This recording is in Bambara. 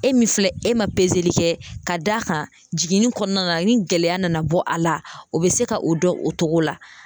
E min filɛ e ma pezeli kɛ ka d'a kan jiginni kɔnɔna la ni gɛlɛya nana bɔ a la o bɛ se ka o dɔn o cogo la.